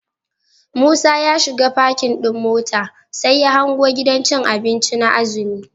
Musa ya shiga parking ɗin motar, sai ya hango gidan cin abinci na azumi.